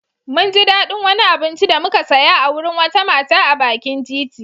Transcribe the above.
Mun ji daɗin wani abinci da muka saya a wurin wata mata a bakin titi.